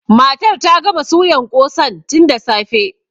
Matar ta gama suyan ƙosan tun da safe.